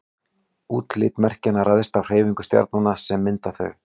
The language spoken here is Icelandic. útlit merkjanna ræðst af hreyfingum stjarnanna sem mynda þau